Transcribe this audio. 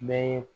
Bɛɛ ye